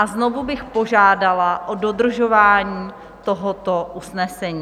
A znovu bych požádala o dodržování tohoto usnesení.